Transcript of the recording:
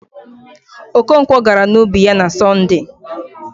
Okonkwọ gara n'ubi ya na Sọnde